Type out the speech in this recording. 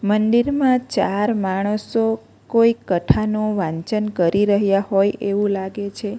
મંદિરમાં ચાર માણસો કોઈ કથા નો વાંચન કરી રહ્યા હોય એવું લાગે છે.